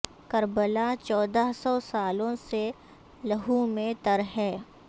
کربلا چودہ سو سالوں سے لہو میں تر ہے